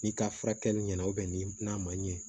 Ni ka furakɛli ɲɛna ni n'a ma ɲɛ